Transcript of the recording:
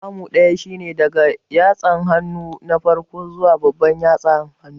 Kamu ɗaya shine daga yatsan hannu na farko zuwa babban yatsa hannun